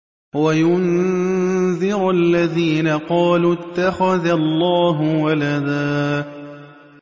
وَيُنذِرَ الَّذِينَ قَالُوا اتَّخَذَ اللَّهُ وَلَدًا